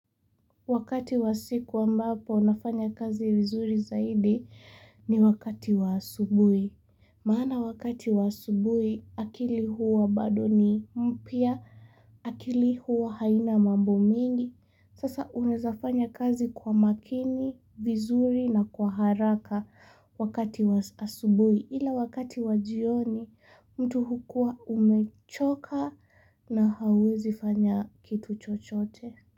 Wakati wa siku ambapo nafanya kazi vizuri zaidi ni wakati wa asubui. Maana wakati wa asubui akili huwa badoni mpia, akili huwa haina mambu mingi. Sasa unezafanya kazi kwa makini, vizuri na kwa haraka. Wakati wa asubui ila wakati wa jioni. Mtu hukua umechoka na hawezi fanya kitu chochote.